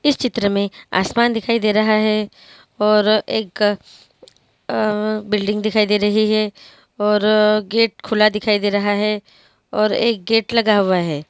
इस चित्र मे आसमान दिखाई दे रहा है और एक अ बिल्डिंग दिखाई दे रही है और गेट खुला दिखाई दे रहा है और एक गेट लगा हुआ है।